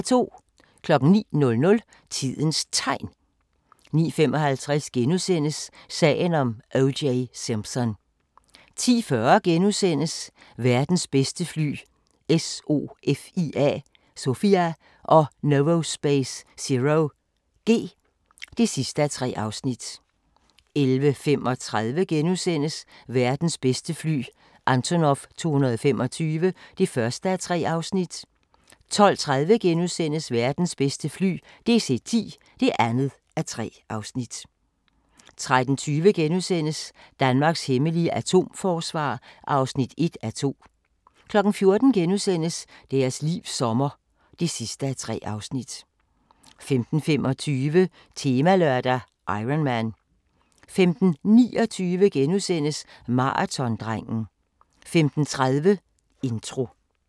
09:00: Tidens Tegn 09:55: Sagen om O.J. Simpson * 10:40: Verdens bedste fly – SOFIA og Novospace ZeroG (3:3)* 11:35: Verdens bedste fly – Antonov 225 (1:3)* 12:30: Verdens bedste fly – DC-10 (2:3)* 13:20: Danmarks hemmelige atomforsvar (1:2)* 14:00: Deres livs sommer (3:3)* 15:25: Temalørdag: Ironman 15:29: Maratondrengen * 15:30: Intro